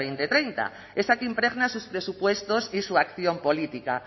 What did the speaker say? dos mil treinta esa que impregna sus presupuestos y su acción política